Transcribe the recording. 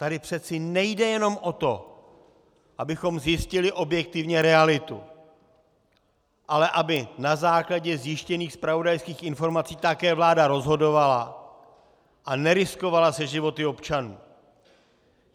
Tady přece nejde jenom o to, abychom zjistili objektivně realitu, ale aby na základě zjištěných zpravodajských informací také vláda rozhodovala a neriskovala se životy občanů!